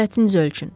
Hərarətiniz ölçün.